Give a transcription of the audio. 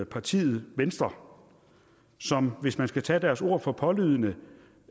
partiet venstre som hvis man skal tage deres ord for pålydende